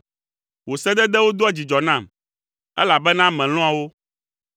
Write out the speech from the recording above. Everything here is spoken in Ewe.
Wò sededewo doa dzidzɔ nam, elabena melɔ̃a wo.